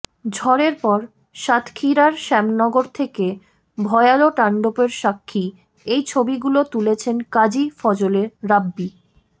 ঝড়ের পর সাতক্ষীরার শ্যামনগর থেকে ভয়াল তান্ডবের সাক্ষী এই ছবিগুলো তুলেছেন কাজী ফজলে রাব্বী